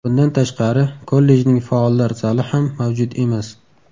Bundan tashqari, kollejning faollar zali ham mavjud emas.